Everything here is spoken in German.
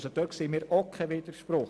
Dort sehen wir keinen Widerspruch.